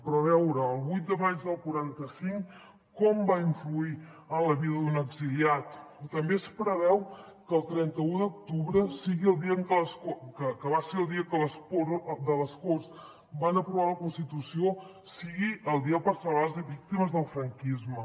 però a veure el vuit de maig del quaranta cinc com va influir en la vida d’un exiliat o també es preveu que el trenta un d’octubre que va ser el dia que les corts van aprovar la constitució sigui el dia per celebrar les víctimes del franquisme